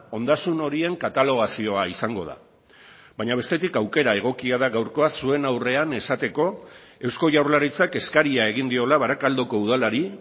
ondasun horien katalogazioa izango da baina bestetik aukera egokia da gaurkoa zuen aurrean esateko eusko jaurlaritzak eskaria egin diola barakaldoko udalari